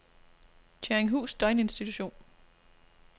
Tjørringhus Døgninstitution